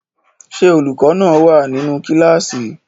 Se olukọ náa wa ninu kilasi?